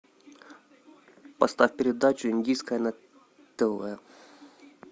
поставь передачу индийское на тв